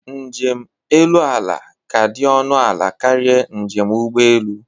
Njem elu ala ka dị ọnụ ala karịa njem ụgbọelu